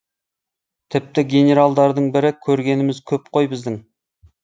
тіпті генералдардың бірі көргеніміз көп қой біздің